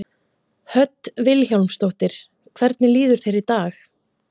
Hödd Vilhjálmsdóttir: Hvernig líður þér í dag?